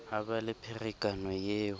ha ba le pherekano eo